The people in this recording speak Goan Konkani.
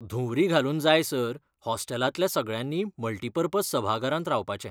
धुंवरी घालून जायसर हॉस्टेलांतल्या सगळ्यांनी मल्टिपर्पज सभाघरांत रावपाचें.